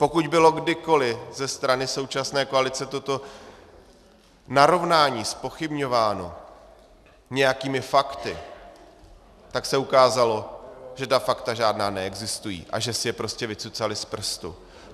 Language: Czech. Pokud bylo kdykoli ze strany současné koalice toto narovnání zpochybňováno nějakými fakty, tak se ukázalo, že ta fakta žádná neexistují a že si je prostě vycucali z prstu.